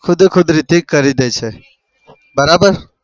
ખુદ ખુદ repeat કરી દે છ. બરાબર?